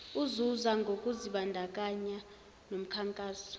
uzuza ngokuzibandakanya nomkhankaso